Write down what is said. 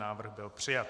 Návrh byl přijat.